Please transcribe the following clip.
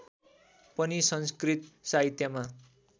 पनि संस्कृत साहित्यमा